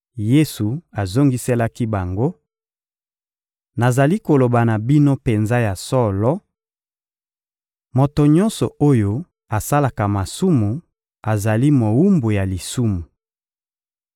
Yesu azongiselaki bango: — Nazali koloba na bino penza ya solo: moto nyonso oyo asalaka masumu azali mowumbu ya lisumu.